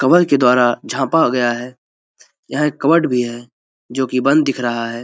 Cover के द्वारा झापा गया है यह एक कवर्ड भी है जो की बंद दिख रहा है।